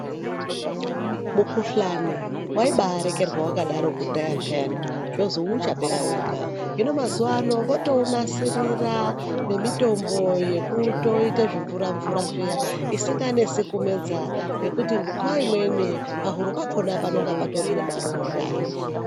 Mikhuhlani waibaarekerwa wakadaro kudhara peyani zvozwi uchapera wega, hino mazuwa ano votounasirira nemitombo yekutoite zvimvura mvura zviya isinganesi kumedza ngekuti nguwa imweni pahuro pakhona panenge patori nemaronda.